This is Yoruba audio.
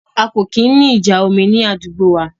A kò kí ń ní ìjà omi ní àdúgbò wa